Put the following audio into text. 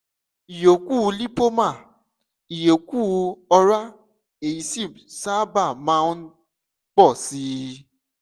ìyókù lipoma - ìyókù ọrá èyí sì sábà máa ń pọ̀ sí i